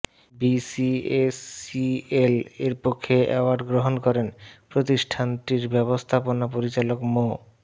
BCSCL এর পক্ষে award গ্রহণ করেন প্রতিষ্ঠানটির ব্যবস্থাপনা পরিচালক মো